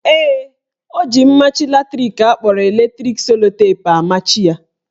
Ee, o ji mmachi latrik akpọrọ electric sellotape amachi ya.